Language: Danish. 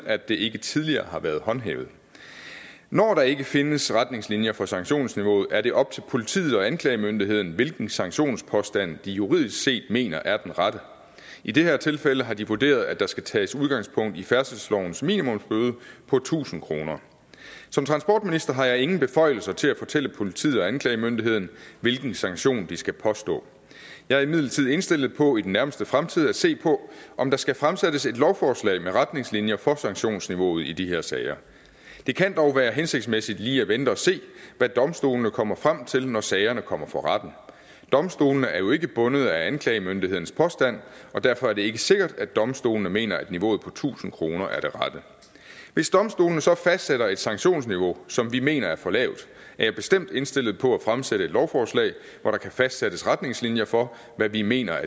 at det ikke tidligere har været håndhævet når der ikke findes retningslinjer for sanktionsniveauet er det op til politiet og anklagemyndigheden hvilken sanktionspåstand de juridisk set mener er den rette i det her tilfælde har de vurderet at der skal tages udgangspunkt i færdselslovens minimumsbøde på tusind kroner som transportminister har jeg ingen beføjelser til at fortælle politiet og anklagemyndigheden hvilken sanktion de skal påstå jeg er imidlertid indstillet på i den nærmeste fremtid at se på om der skal fremsættes et lovforslag med retningslinjer for sanktionsniveauet i de her sager det kan dog være hensigtsmæssigt lige at vente og se hvad domstolene kommer frem til når sagerne kommer for retten domstolene er jo ikke bundet af anklagemyndighedens påstand og derfor er det ikke sikkert at domstolene mener at niveauet på tusind kroner er det rette hvis domstolene så fastsætter et sanktionsniveau som vi mener er for lavt er jeg bestemt indstillet på at fremsætte et lovforslag hvor der kan fastsættes retningslinjer for hvad vi mener